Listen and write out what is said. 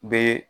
Bɛ